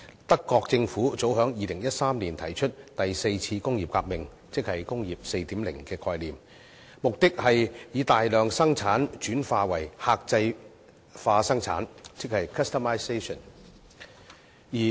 德國政府早於2013年提出第四次工業革命，即"工業 4.0" 的概念，目的是以大量生產轉化為客製化生產。